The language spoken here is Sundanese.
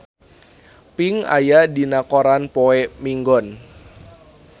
Pink aya dina koran poe Minggon